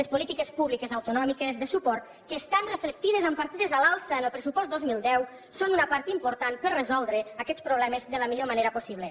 les polítiques públiques autonòmiques de suport que estan reflectides en partides a l’alça en el pressupost dos mil deu són una part important per resoldre aquests problemes de la millor manera possible